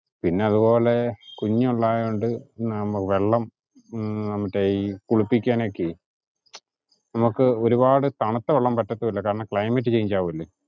പിന്നതുപോലെ കുഞ്ഞോണ്ടായോണ്ട് വെള്ളം മറ്റേ ഈ കുളിപ്പിക്കാനൊക്കെ, നമുക്ക് ഒരുപാടു തണുത്ത വെള്ളം പറ്റത്തുവില്ല കാരണം climate change ആവുവല്ലോ.